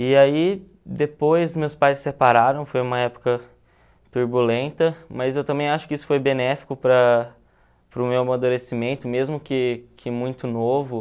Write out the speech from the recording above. E aí depois meus pais se separaram, foi uma época turbulenta, mas eu também acho que isso foi benéfico para para o meu amadurecimento, mesmo que muito novo.